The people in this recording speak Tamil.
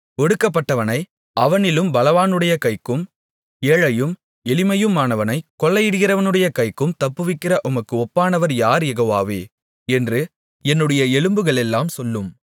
ஒடுக்கப்பட்டவனை அவனிலும் பலவானுடைய கைக்கும் ஏழையும் எளிமையுமானவனைக் கொள்ளையிடுகிறவனுடைய கைக்கும் தப்புவிக்கிற உமக்கு ஒப்பானவர் யார் யெகோவாவே என்று என்னுடைய எலும்புகளெல்லாம் சொல்லும்